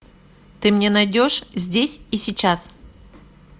ты мне найдешь здесь и сейчас